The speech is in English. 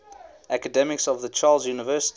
academics of the charles university